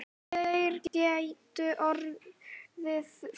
Þeir gætu orðið fleiri.